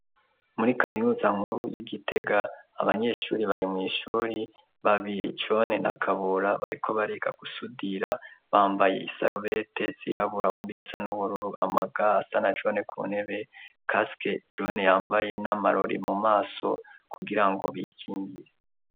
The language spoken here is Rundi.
Muri kaminuza nkuru y'igitega abanyeshuri bari mw'ishuri babijone nakabura bariko bariga gusudira bambaye i sarubete zirabulawuni isa n'ubururu amaga asa na jone ku nebe kaske jone yambaye n'amarori mu maso kugira ngo bikingire.